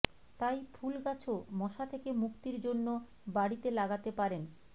তাই ফুল গাছো মশা থেকে মুক্তির জন্য বাড়িতে লাগাতে পারেন